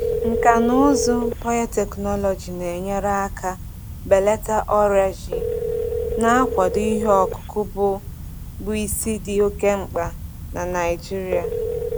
Nkà na ụzụ biotechnology na-enyere aka belata ọrịa ji, na-akwado ihe ọkụkụ bụ bụ isi dị oke mkpa na Naijiria.